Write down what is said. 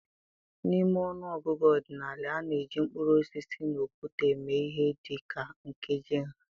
N'ime ọnụ ọgụgụ ọdịnala, a na-eji mkpụrụ osisi, na okwute eme ihe dị ka nkeji nha.